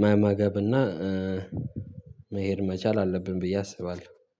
መመገብ ማድረግ መብላት መቻል አለብን እና